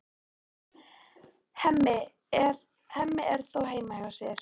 Hemmi er þó heima hjá sér.